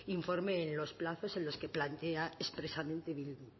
informe en los plazos en los que plantea expresamente bildu